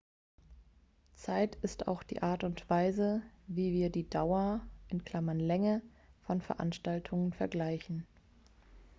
zeit ist auch die art und weise wie wir die dauer länge von veranstaltungen vergleichen